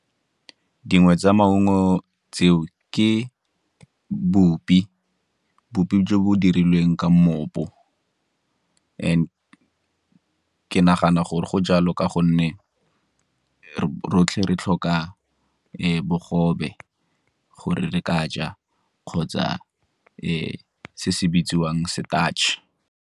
Dingwe tsa maungo tseo ke bopi, bopi jo bo dirilweng ka mmopo, and ke nagana gore go jalo ka gonne rotlhe re tlhoka bogobe gore re ka ja kgotsa se se bitsiwang starch-e.